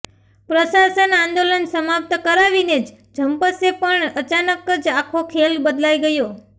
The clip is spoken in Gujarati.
પ્રશાસન આંદોલન સમાપ્ત કરાવીને જ જંપશે પણ અચાનક જ આખો ખેલ બદલાય ગયો